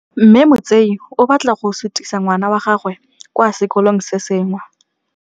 Mme Motsei o batla go sutisa ngwana wa gagwe kwa sekolong se sengwe.